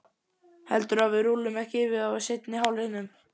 Heldurðu að við rúllum ekki yfir þá í seinni hálfleiknum?